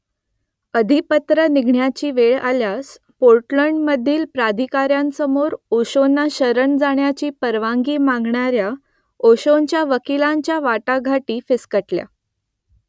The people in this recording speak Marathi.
अधिपत्र निघण्याची वेळ आल्यास पोर्टलँडमधील प्राधिकाऱ्यांसमोर ओशोंना शरण जाण्याची परवानगी मागणाऱ्या ओशोंच्या वकिलांच्या वाटाघाटी फिसकटल्या